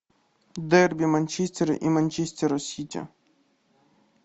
дерби манчестера и манчестера сити